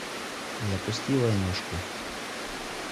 запусти войнушку